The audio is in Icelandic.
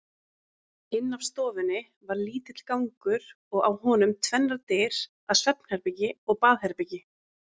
Inn af stofunni var lítill gangur og á honum tvennar dyr að svefnherbergi og baðherbergi.